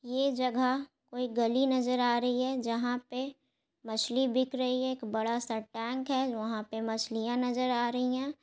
ये जगह कोई गली नजर आ रही है। जहाँ पे मछली बिक रही है। एक बड़ा सा टेंक है। वहाँ मछलियां नजर आ रही है।